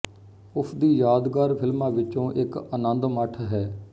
ਉਸ ਦੀ ਯਾਦਗਾਰ ਫਿਲਮਾਂ ਵਿਚੋਂ ਇੱਕ ਆਨੰਦ ਮਠ ਹੈ